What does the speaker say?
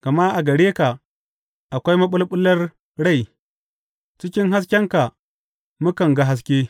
Gama a gare ka akwai maɓulɓular rai cikin haskenka mukan ga haske.